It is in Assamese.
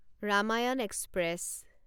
ৰামায়ণ এক্সপ্ৰেছ